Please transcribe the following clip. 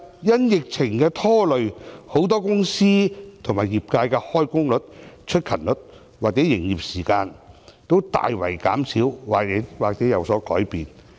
因疫情的拖累，很多公司和業界的開工率、出勤率或營業時間均大幅減少或有所改變。